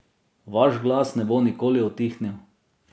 Vaš glas ne bo nikoli utihnil!